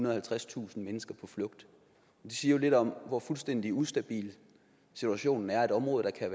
og halvtredstusind mennesker på flugt det siger jo lidt om hvor fuldstændig ustabil situationen er at et område der